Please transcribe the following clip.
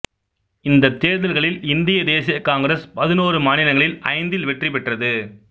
இந்தத் தேர்தல்களில் இந்திய தேசிய காங்கிரசு பதினோரு மாநிலங்களில் ஐந்தில் வெற்றி பெற்றது